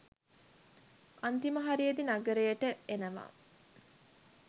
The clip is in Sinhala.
අන්තිම හරියෙදි නගරෙට එනවා